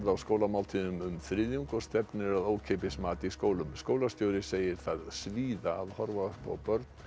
skólamáltíðum um þriðjung og stefnir að ókeypis mat í skólum skólastjóri segir það svíða að horfa upp á börn